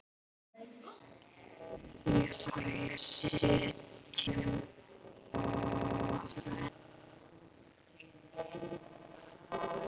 Ég fæ að sitja í hjá þeim.